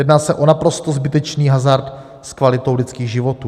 Jedná se o naprosto zbytečný hazard s kvalitou lidských životů.